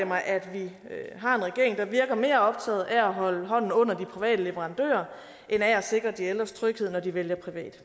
mig at vi har en regering der virker mere optaget af at holde hånden under de private leverandører end af at sikre de ældres tryghed når de vælger privat